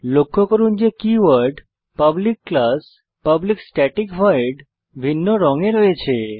লক্ষ্য করুন যে keyword public class public static void ভিন্ন রঙে রয়েছে